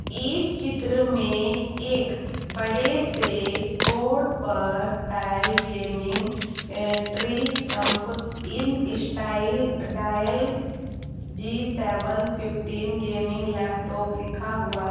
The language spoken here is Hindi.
इस चित्र में एक बड़े से बोर्ड पर Dell gaming in style Dell G seven fifteen gaming laptop लिखा हुआ है।